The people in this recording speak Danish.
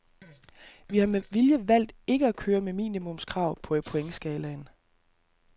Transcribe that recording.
Vi har med vilje valgt ikke at køre med minimumskrav på pointskalaen.